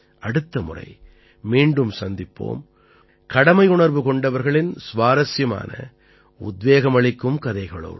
அடுத்த முறை மீண்டும் சந்திப்போம் கடமையுணர்வு கொண்டவர்களின் சுவாரசியமான உத்வேகம் அளிக்கும் கதைகளோடு